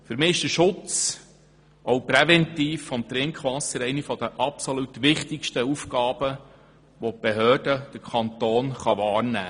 Für mich ist der Schutz des Trinkwassers auch präventiv ganz klar eine der wichtigsten Aufgaben, welche die Behörden und der Kanton wahrnehmen müssen.